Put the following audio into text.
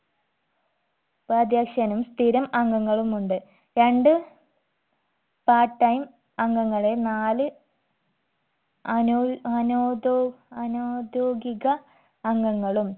ഉപാധ്യക്ഷനും സ്ഥിരം അംഗങ്ങളുമുണ്ട് രണ്ട് part time അംഗങ്ങളെ നാല് അനോ അനോധോ അനൗദ്യോഗിക അംഗങ്ങളും